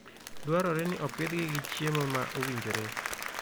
Dwarore ni opidhgi gi chiemo ma owinjore.